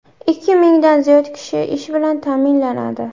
Ikki mingdan ziyod kishi ish bilan ta’minlanadi.